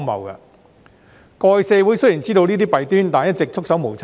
社會過去雖然知道這些弊端，但一直束手無策。